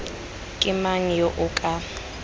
ke mang yo o ka